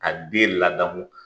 Ka den ladamu